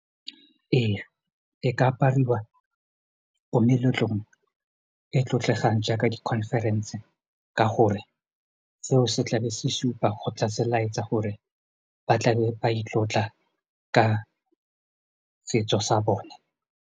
Eya e ka apariwa ko meletlong e tlotlegang jaaka di-conference ka gore seo se tla be se supa kgotsa se laetsa gore ba tlabe ba itlotla ka setso sa bone.